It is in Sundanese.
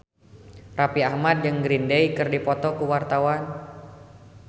Raffi Ahmad jeung Green Day keur dipoto ku wartawan